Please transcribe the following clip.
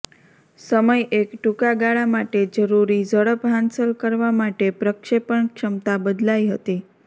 સમય એક ટૂંકા ગાળા માટે જરૂરી ઝડપ હાંસલ કરવા માટે પ્રક્ષેપણ ક્ષમતા બદલાઇ હતી